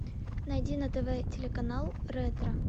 найди на тв телеканал ретро